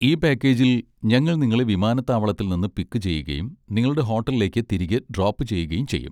ഈ പാക്കേജിൽ, ഞങ്ങൾ നിങ്ങളെ വിമാനത്താവളത്തിൽ നിന്ന് പിക്ക് ചെയ്യുകയും നിങ്ങളുടെ ഹോട്ടലിലേക്ക് തിരികെ ഡ്രോപ്പ് ചെയ്യുകയും ചെയ്യും.